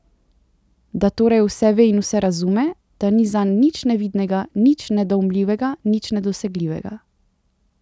Da torej vse ve in vse razume, da ni zanj nič nevidnega, nič nedoumljivega, nič nedosegljivega.